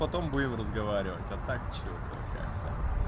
потом будем разговаривать а так что-то как-то